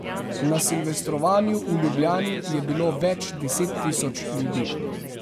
Na silvestrovanju v Ljubljani je bilo več deset tisoč ljudi.